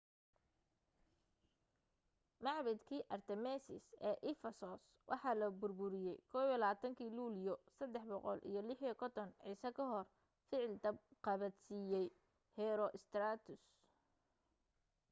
macbadkii artemis ee efesos waxaa la burburiyey 21-kii luulyo 356 ciise kahor ficil dab qabadsiiyay herostratus